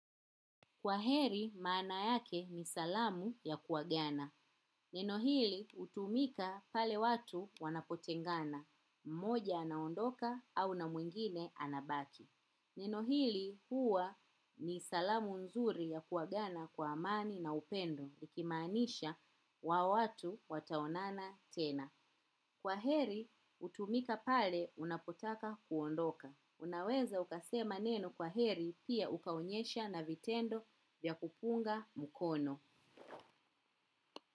Kwa heri, maana yake ni salamu ya kuagana. Neno hili, hutumika pale watu wanapotengana. Mmoja anaondoka au na mwingine anabaki. Neno hili huwa ni salamu nzuri ya kuagana kwa amani na upendo, likimaanisha hawa watu wataonana tena. Kwaheri hutumika pale unapotaka kuondoka. Unaweza ukasema neno kwaheri pia ukaonyesha na vitendo vya kupunga mkono.